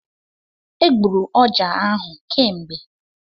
E gburu ọjá ahụ kemgbe.